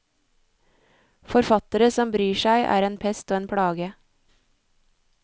Forfattere som bryr seg er en pest og en plage.